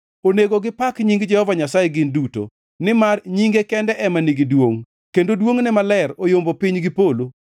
Onego gipak nying Jehova Nyasaye gin duto, nimar nyinge kende ema nigi duongʼ; kendo duongʼne maler oyombo piny gi polo.